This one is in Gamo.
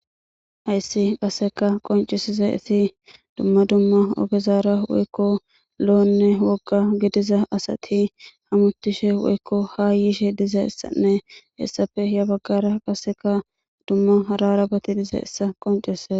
Hayssi qasseka qoncesiza iti dumma dumma ogezaara woykko lo'onne wogga gidiza asati hamutishe woykko ha yiishe diza issanne essafe iya baggara qasseka dumma rarabati diza essa qoncese.